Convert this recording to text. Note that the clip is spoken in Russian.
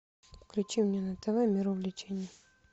включи мне на тв мир увлечений